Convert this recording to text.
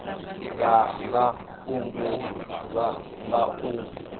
dza nga fhungudzwa nga u